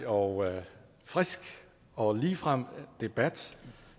og frisk og ligefrem debat